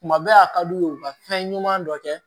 Tuma bɛɛ a ka d'u ye u ka fɛn ɲuman dɔ kɛ